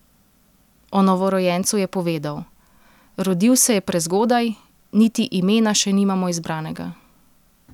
O novorojencu je povedal: "Rodil se je prezgodaj, niti imena še nimamo izbranega.